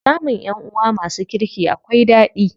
Samun ƴanʼuwa masu kirki akwai ɗadi.